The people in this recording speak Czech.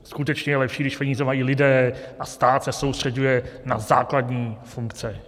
Skutečně je lepší, když peníze mají lidé a stát se soustřeďuje na základní funkce.